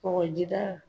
Kɔgɔjida